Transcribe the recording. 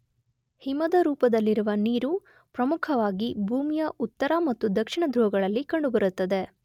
ಹಿಮದ ರೂಪದಲ್ಲಿರುವ ನೀರು ಪ್ರಮುಖವಾಗಿ ಭೂಮಿಯ ಉತ್ತರ ಮತ್ತು ದಕ್ಷಿಣ ಧ್ರುವಗಳಲ್ಲಿ ಕಂಡುಬರುತ್ತದೆ.